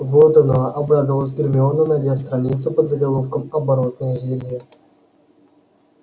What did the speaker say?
вот оно обрадовалась гермиона найдя страницу под заголовком оборотное зелье